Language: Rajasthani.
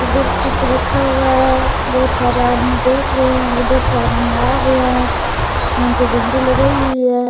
इधर कुछ रखा हुआ है बहुत सारे आदमी देख रहे है उधर से आदमी आ रहे है यहाँ पे झंडी लगाई हुई है।